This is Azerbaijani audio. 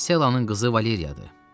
Messalanın qızı Valeriyadır.